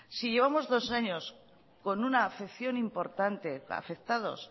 si llevamos dos años con una afección importante afectados